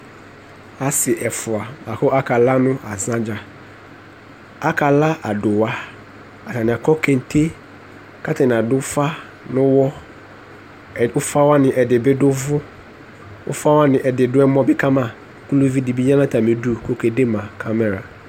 asi ɛfʋa akalanu ɛyuiayɛ dza akala awʋmɛtsɛ atani akɔ agbavlɛ katani adufa nuwɔ ɛ ʋfawani ɛdibi du ʋvʋɔ afawani ɛdibi dʋ ɔwɔ kama ka luvidibi ya natamidu kʋɔke zɛma yeyezɛlɛ